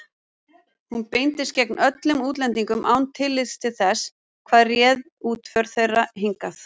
Hún beindist gegn öllum útlendingum án tillits til þess, hvað réð útför þeirra hingað.